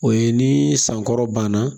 O ye ni san kɔrɔ banna